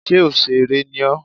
Ṣé òsèrè ni ọ́?